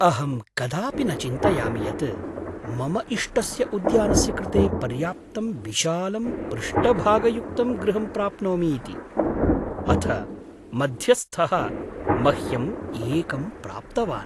अहं कदापि न चिन्तयामि यत् मम इष्टस्य उद्यानस्य कृते पर्याप्तं विशालं पृष्ठभागयुक्तं गृहं प्राप्नोमि इति, अथ मध्यस्थः मह्यं एकं प्राप्तवान्!